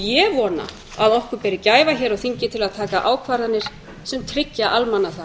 ég vona að við berum gæfu hér á þingi til að taka ákvarðanir sem tryggja almannahag